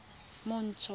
montsho